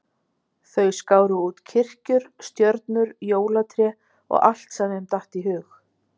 Þau skáru út kirkjur, stjörnur, jólatré og allt sem þeim datt í hug.